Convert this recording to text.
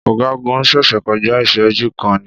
Ọ̀gágun ṣẹ̀ṣẹ̀ kọjá ìṣẹ́jú kan ni.